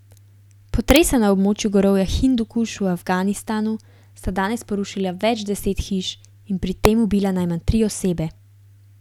Potresa na območju gorovja Hindukuš v Afganistanu sta danes porušila več deset hiš in pri tem ubila najmanj tri osebe.